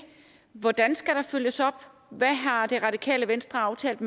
hvordan skal der følges op hvad har det radikale venstre aftalt